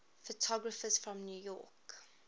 photographers from new york